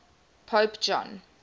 pope john